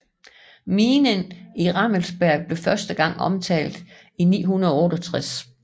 Minen i Rammelsberg blev første gang omtalt i 968